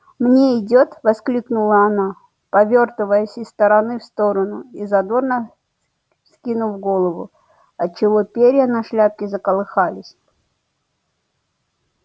мне идёт мне воскликнула она повёртываясь из стороны в сторону и задорно вскинув голову отчего перья на шляпке заколыхались